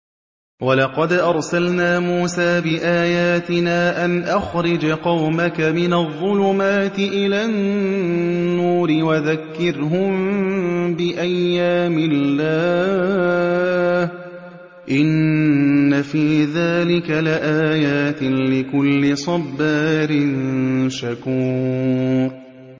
وَلَقَدْ أَرْسَلْنَا مُوسَىٰ بِآيَاتِنَا أَنْ أَخْرِجْ قَوْمَكَ مِنَ الظُّلُمَاتِ إِلَى النُّورِ وَذَكِّرْهُم بِأَيَّامِ اللَّهِ ۚ إِنَّ فِي ذَٰلِكَ لَآيَاتٍ لِّكُلِّ صَبَّارٍ شَكُورٍ